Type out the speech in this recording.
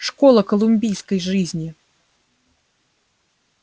школа колумбийской жизни